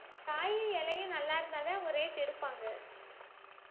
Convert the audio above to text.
காயும் இலையும் நல்லா இருந்தாதான் ஒரு rate எடுப்பாங்க